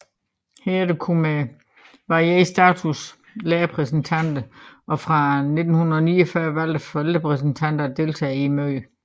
Herefter kunne med varierende status lærerrepræsentanter og fra 1949 valgte forældrerepræsentanter deltage i møderne